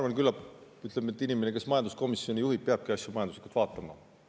Jah, küllap, ütleme, inimene, kes majanduskomisjoni juhib, peabki asju majanduslikult vaatama.